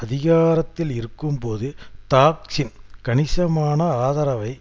அதிகாரத்தில் இருக்கும்போது தாக்சின் கணிசமான ஆதரவை